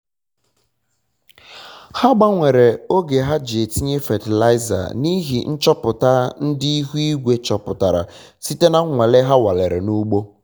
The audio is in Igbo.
um ha gbanwere oge ha ji atinye fatịlaịza na ịhị nchọpụta ndị um ihu igwe chopụtara site na nwale ha um nwalere na ugbo